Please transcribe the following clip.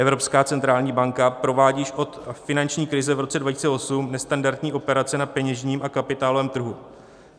Evropská centrální banka provádí již od finanční krize v roce 2008 nestandardní operace na peněžním a kapitálovém trhu.